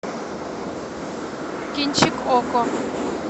кинчик окко